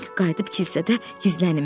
Qayıdıb kilsədə gizlənim.